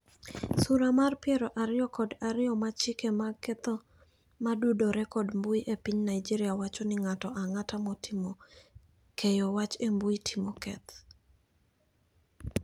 Sura mar piero ariyo kod ariyo mar chike mag ketho modudore kod mbui e piny Nigeria wacho ni ng'ato ang'ata matimo keyo wach e mbui timo keth.